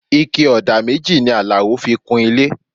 Ike ọ̀dà méjì ni Alao fi kun ilé